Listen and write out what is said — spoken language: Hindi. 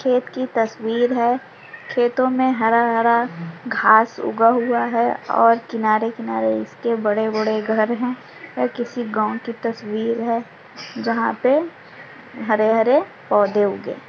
--खेत की तस्वीर है खेतो मे हरा-हरा घास उगा हुआ है और किनारे -किनारे इसके बडे घर है यह किसी गाव की तस्वीर है जहा पे हरे-हरे पेड उगे हुए हैं